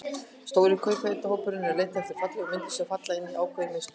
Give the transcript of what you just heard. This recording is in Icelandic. Stóri kaupendahópurinn er að leita eftir fallegum myndum, sem falla inn í ákveðið mynstur.